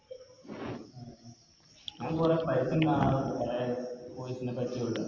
ഞാൻ കൊറേ കൊറേ പരസ്യം കാണാറുണ്ട് കൊറേ Course നെ പറ്റിയുള്ള